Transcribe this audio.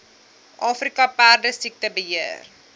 afrika perdesiekte beheer